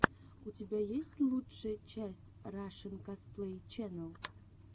у тебя есть лучшая часть рашэн косплей ченел